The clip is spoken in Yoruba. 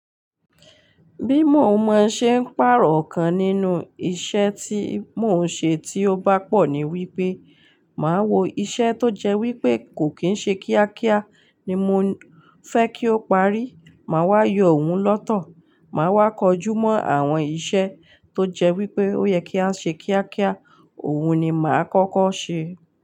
Bí mo mọ ṣe ń pàrọ̀ kan nínú isẹ́ tí mo n ṣe tí ó bá pọ̀ ni wípé, màá wo isẹ́ tó jẹ́ wípé kò kín ń ṣe kíákíá ni mo fẹ́ kí ó parí, màá wá yọ òun lọ́tọ̀, màá wá kojú mọ àwọn isẹ́ tó jẹ́ wípé ó yẹ kí á ṣe kíákíá, òun ni màá kọ́kọ́ ṣe.